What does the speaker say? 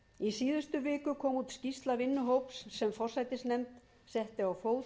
í síðustu viku kom út skýrsla vinnuhóps sem forsætisnefnd setti á fót